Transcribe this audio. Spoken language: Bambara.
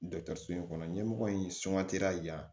so in kɔnɔ ɲɛmɔgɔ in suman teliya la